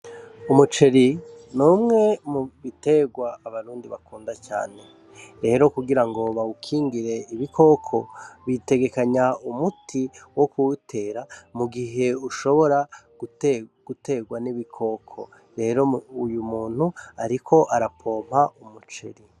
Umuceri ni umwe mu biterwa abarundi bakunda cane. Rero kugira ngo bawukingire ibikoko, bitegekanya umuti wo kuwutera mu gihe ushobora guterwa n'ibikoko. Rero uyu muntu ariko ara pompa umuceri.